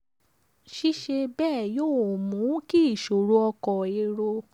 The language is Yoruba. ṣíṣe bẹ́ẹ̀ yóò mú kí iṣoro ọkọ̀ èrò má jẹ́ iṣòro fún nàìjíríà.